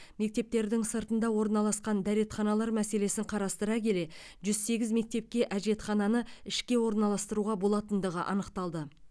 мектептердің сыртында орналасқан дәретханалар мәселесін қарастыра келе жүз сегіз мектепке әжетхананы ішке орналастыруға болатындығы анықталды